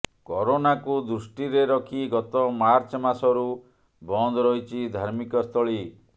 କରୋନାକୁ ଦୃଷ୍ଟିରେ ରଖି ଗତ ମାର୍ଚ୍ଚ ମାସରୁ ବନ୍ଦ ରହିଛି ଧାର୍ମିକ ସ୍ଥଳୀ